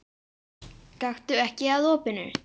Gakktu ekki að opinu.